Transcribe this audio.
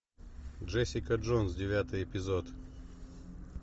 джессика джонс девятый эпизод